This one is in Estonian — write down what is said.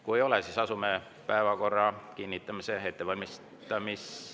Kui ei ole, siis asume päevakorra kinnitamise ettevalmistamise …